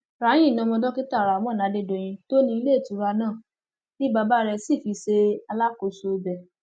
rahee ni ọmọ dókítà rahmon adédọyìn tó ní iléetura náà ni bàbá rẹ sì fi ṣe alákòóso ibẹ